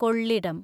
കൊള്ളിടം